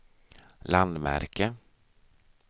landmärke